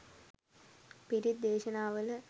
පිරිත් දේශනාවල